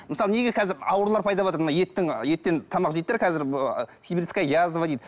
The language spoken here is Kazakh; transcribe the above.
мысалы неге қазір аурулар пайда болыватыр мына еттің еттен тамақ жейді де қазір сибирская язва дейді